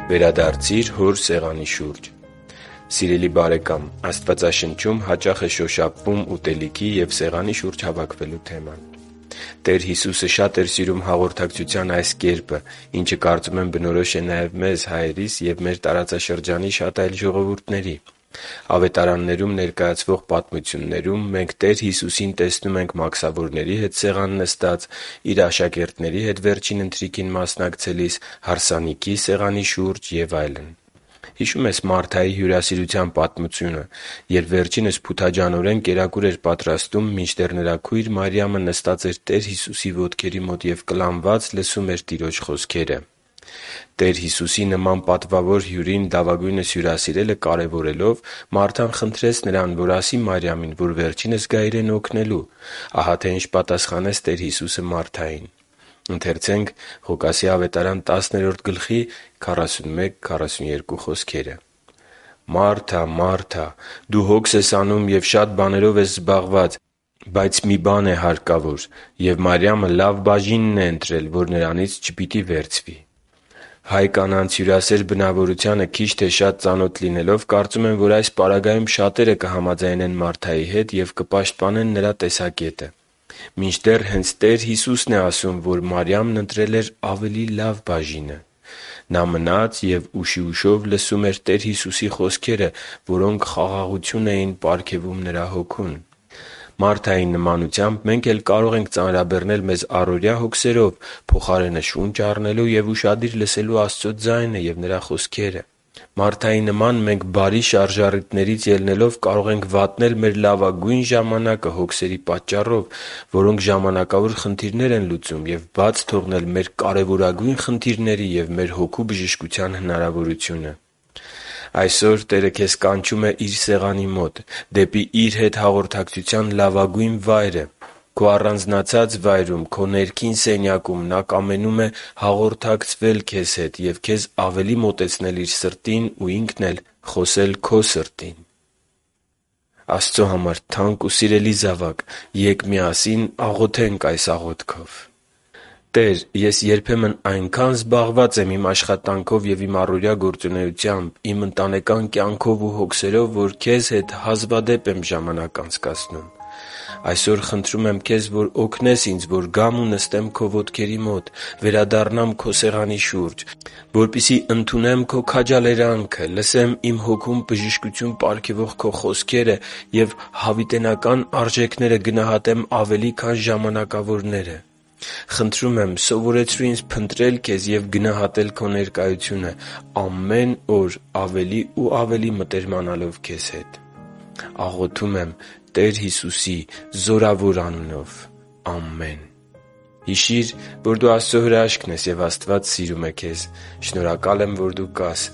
Վերադարձի՛ր Հոր սեղանի շուրջ․․․ Սիրելի՛ բարեկամ, Աստվածաշնչում հաճախ շոշափվում է ուտելիքի և սեղանի շուրջ հավաքվելու թեման։ Տեր Հիսուսը շատ էր սիրում հաղորդակցության այս կերպը, ինչը, կարծում եմ, բնորոշ է նաև մեզ՝ հայերիս և մեր տարածաշրջանի շատ այլ ժողովուրդների։ Ավետարաններում ներկայացվող պատմություններում մենք Տեր Հիսուսին տեսնում ենք մաքսավորների հետ սեղան նստած, Իր աշակերտների հետ Վերջին Ընթրիքին մասնակցելիս, հարսանիքի սեղանի շուրջ և այլն։ Հիշո՞ւմ ես Մարթայի հյուրասիրության պատմությունը, երբ վերջինս փութաջանորեն կերակուր էր պատրաստում, մինչդեռ նրա քույր Մարիամը նստած էր Տեր Հիսուսի ոտքերի մոտ և կլանված լսում էր Տիրոջ խոսքերը։ Տեր Հիսուսի նման պատվավոր հյուրին լավագույնս հյուրասիրելը կարևորելով՝ Մարթան խնդրեց Նրան, որ ասի Մարիամին, որ վերջինս գա իրեն օգնելու։ Ահա թե ինչ պատասխանեց Տեր Հիսուսը Մարթային. «Մա՛րթա, Մա՛րթա, դու հոգս ես անում և շատ բաներով ես զբաղված։ Բայց մի բան է հարկավոր. և Մարիամը լավ բաժինն է ընտրել, որ նրանից չպիտի վերցվի» (Ղուկաս 10:41-42)։ Հայ կանանց հյուրասեր բնավորությանը քիչ թե շատ ծանոթ լինելով՝ կարծում եմ, որ այս պարագայում շատերը կհամաձայնեն Մարթայի հետ և կպաշտպանեն նրա տեսակետը։ Մինչդեռ, հենց Տեր Հիսուսն է ասում, որ Մարիամն ընտրել էր ավելի լավ բաժինը։ Նա մնաց և ուշիուշով լսում էր Տեր Հիսուսի խոսքերը, որոնք խաղաղություն էին պարգևում նրա հոգուն։ Մարթայի նման մենք էլ կարող ենք ծանրաբեռնել մեզ առօրյա հոգսերով՝ փոխարենը շունչ առնելու և ուշադիր լսելու Աստծո ձայնին և Նրա խոսքերին։ Մարթայի նմանությամբ մենք բարի շարժառիթներից ելնելով՝ կարող ենք վատնել մեր լավագույն ժամանակը հոգսերի պատճառով, որոնք ժամանակավոր խնդիրներ են լուծում, և բաց թողնել մեր կարևորագույն խնդիրների և մեր հոգու բժշկության հնարավորությունը։ Այսօր Տերը քեզ կանչում է Իր սեղանի մոտ՝ դեպի Իր հետ հաղորդակցության լավագույն վայրը։ Քո առանձնացած վայրում՝ քո ներքին սենյակում, Նա կամենում է հաղորդակցվել քեզ հետ և քեզ ավելի մոտեցնել Իր սրտին ու Ինքն էլ՝ խոսել քո սրտին։ Աստծո համար թանկ ու սիրելի՛զավակ,ե՛կ աղոթենք միասին այս աղոթքով․ «Տեր՛, ես երբեմն այնքա՜ն զբաղված եմ իմ աշխատանքով և իմ առօրյա գործունեությամբ, իմ ընտանեկան կյանքով ու հոգսերով, որ Քեզ հետ հազվադեպ եմ ժամանակ անցկացնում։ Այսօր խնդրում եմ Քեզ, որ օգնես ինձ, որ գամ ու նստեմ Քո ոտքերի մոտ, վերադառնամ Քո սեղանի շուրջ, որպեսզի ընդունեմ Քո քաջալերանքի խոսքը, լսեմ իմ հոգուն բժշկություն պարգևող Քո խոսքերը և հավիտենական արժեքները գնահատեմ ավելի, քան ժամանակավորները։ Խնդրում եմ՝ սովորեցրո՛ւ ինձ փնտրել Քեզ ու գնահատել Քո ներկայությունը՝ ամեն օր ավելի ու ավելի մտերմանալով Քեզ հետ։ Աղոթում եմ Տեր Հիսուսի զորավոր անունով։ Ամե՛ն» Հիշի՛ր, որ դու Աստծո հրաշքն ես, և Աստված սիրում է քեզ։ Շնորհակալ եմ, որ դու կա՛ս